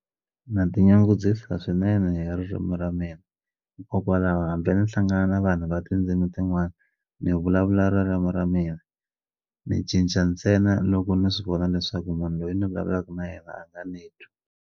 Na tinyungubyisa swinene hi ririmi ra mina hikokwalaho hambi ni hlangana na vanhu va tindzimi tin'wani ni vulavula ririmu ra mina ni cinca ntsena loko ni swi vona leswaku munhu loyi ni vulavulaka na yena a nga ni twi.